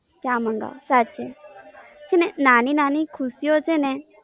ચા મંગાવો ચાલશે, છેને નાની નાની ખુશીઓ છેને